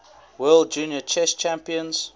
world junior chess champions